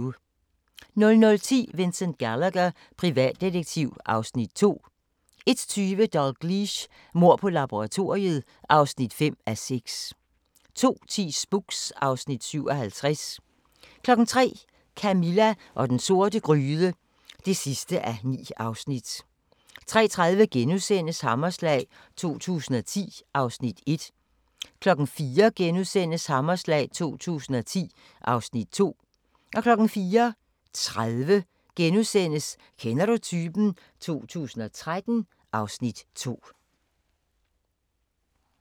00:10: Vincent Gallagher, privatdetektiv (Afs. 2) 01:20: Dalgliesh: Mord på laboratoriet (5:6) 02:10: Spooks (Afs. 57) 03:00: Camilla og den sorte gryde (9:9) 03:30: Hammerslag 2010 (Afs. 1)* 04:00: Hammerslag 2010 (Afs. 2)* 04:30: Kender du typen? 2013 (Afs. 2)*